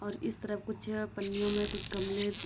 और इस तरफ कुछ पन्नियों मे कुछ कमले --